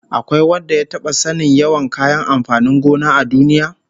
Akwai wanda ya taba sanin yawan kayan amfanin gona a duniya?